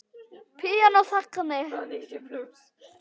Píanó þagni!